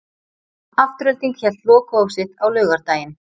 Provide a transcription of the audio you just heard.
Afturelding hélt lokahóf sitt á laugardaginn.